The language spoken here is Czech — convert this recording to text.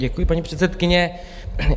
Děkuji, paní předsedkyně.